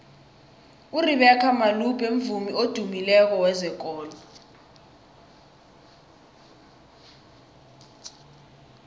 urebeca malope mvumi odumileko wezekolo